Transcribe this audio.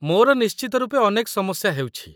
ମୋର ନିଶ୍ଚିତ ରୂପେ ଅନେକ ସମସ୍ୟା ହେଉଛି।